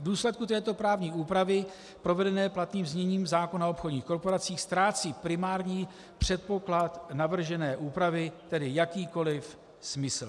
V důsledku této právní úpravy provedené platným zněním zákona o obchodních korporacích ztrácí primární předpoklad navržené úpravy tedy jakýkoliv smysl.